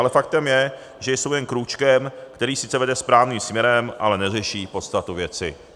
Ale faktem je, že jsou jen krůčkem, který sice vede správným směrem, ale neřeší podstatu věci.